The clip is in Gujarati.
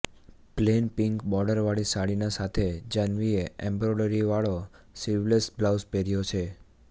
પ્લેન પિંક બોર્ડર વાળી સાડી ના સાથે જાહ્નવી એ એમ્બ્રોડરી વાળો સ્લીવલેસ બ્લાઉઝ પહેર્યો છે